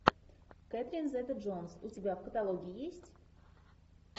кэтрин зета джонс у тебя в каталоге есть